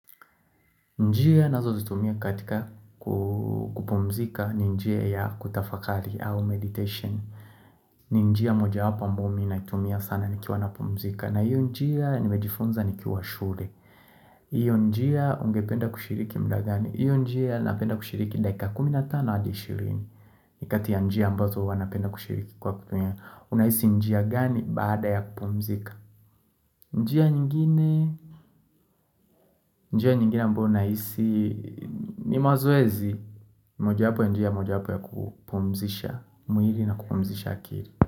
Njia nazozitumia katika kupumzika ni njia ya kutafakari au meditation. Ni njia mojawapo ambayo mi natumia sana nikiwa napumzika. Na hiyo njia nimejifunza nikiwa shule. Hiyo njia ungependa kushiriki mda gani. Hiyo njia napenda kushiriki dakika kumi na tano hadi ishirini. Ni kati ya njia ambazo huwa napenda kushiriki kwa kutumia. Unahisi njia gani baada ya kupumzika. Njia nyingine njia nyingine ambayo nahisi ni mazoezi. Mojawapo ya njia mojawapo ya kupumzisha mwili na kupumzisha akili.